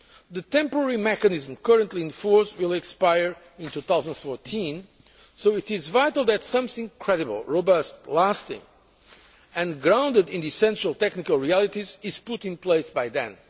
The temporary mechanism currently in force will expire in 2013, so it is vital that something credible, robust, lasting, and grounded in the essential technical realities is put in place by then.